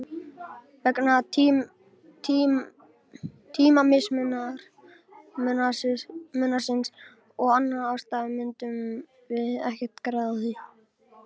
Vegna tímamismunarins og annarra ástæðna myndum við ekkert græða á því.